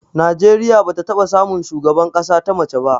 Najeriya bata taɓa samun shugaban ƙasa ta mace ba